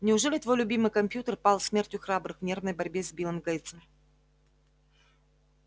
неужели твой любимый компьютер пал смертью храбрых в нервной борьбе с биллом гейтсом